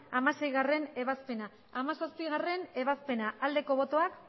hamaseigarrena ebazpena hamazazpigarrena ebazpena aldeko botoak